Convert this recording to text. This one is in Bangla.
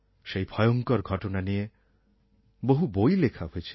সেই ভয়ঙ্কর ঘটনা নিয়ে বহু বই লেখা হয়েছে